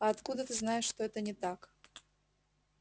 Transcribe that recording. а откуда ты знаешь что это не так